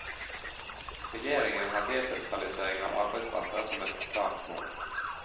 Regjeringen har desentralisering av arbeidsplasser som et klart mål.